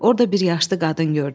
Orda bir yaşlı qadın gördüm.